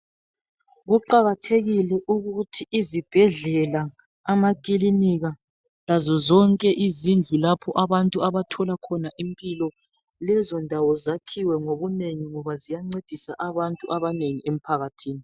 Kuqakathekile ukuthi izibhedlela, amakilinika lazo zonke izindlu lapho abantu abathola khona impilo, lezo ndawo zakhiwe ngobunengi ngoba ziyancedisa abantu abanengi emphakathini.